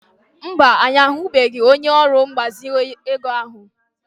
Mba, anyị ahụbeghị onye ọrụ mgbazinye ego ahụ.